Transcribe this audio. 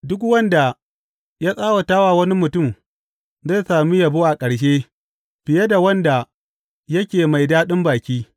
Duk wanda ya tsawata wa wani mutum zai sami yabo a ƙarshe fiye da wanda yake mai daɗin baki.